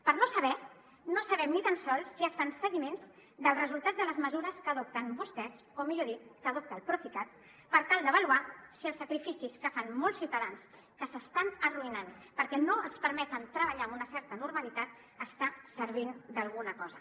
per no saber no sabem ni tan sols si es fan seguiments dels resultats de les mesures que adopten vostès o millor dit que adopta el procicat per tal d’avaluar si els sacrificis que fan molts ciutadans que s’estan arruïnant perquè no els permeten treballar amb una certa normalitat està servint d’alguna cosa